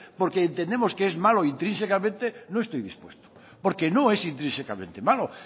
porque entendemos que es malo intrínsecamente no estoy dispuesto porque no es intrínsecamente malo